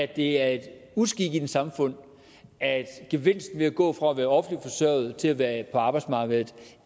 det er en uskik i et samfund at gevinsten ved at gå fra at være offentligt forsørget til at være på arbejdsmarkedet